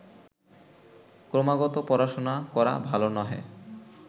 ক্রমাগত পড়াশুনা করা ভালো নহে